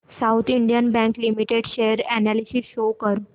south Indian Bank Limited share analysis show कर